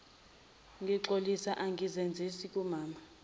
ngixolisa angizenzisi kumama